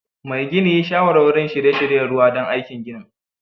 Mai gini yi shawarwari n shirye-shiryen ruwa don aikin ginin